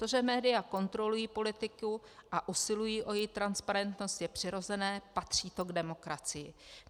To, že média kontrolují politiku a usilují o její transparentnost, je přirozené, patří to k demokracii.